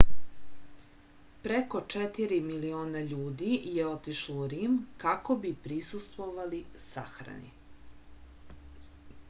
preko 4 miliona ljudi je otišlo u rim kako bi prisustvovali sahrani